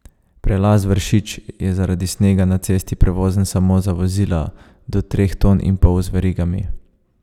Prelaz Vršič je zaradi snega na cesti prevozen samo za vozila do treh ton in pol z verigami.